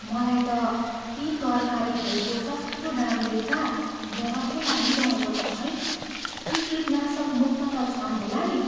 मलाई त यी तरकारीहरूको सस्तो दाम देख्ता डर पो लागिरहेको छ है। यी किटनाशकमुक्त त छन् होला नि!